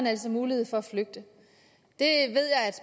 altså mulighed for at flygte